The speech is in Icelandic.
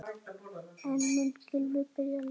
En mun Gylfi byrja leikinn?